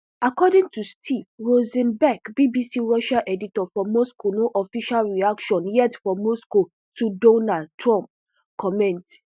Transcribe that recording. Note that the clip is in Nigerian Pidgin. according to steve rosenberg bbc russia editor for moscow no official reaction yet for moscow to donald trump comments